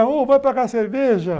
Ô, vai pegar cerveja.